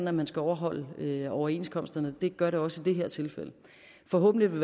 at man skal overholde overenskomsterne det gør det også i det her tilfælde forhåbentlig vil